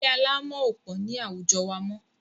Ilé alámọ̀ ò pọ̀ ní àwujọ wa mọ́.